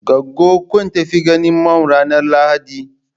Goggon ku ta tafi ganin mum ranar lahadi?